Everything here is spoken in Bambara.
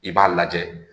I b'a lajɛ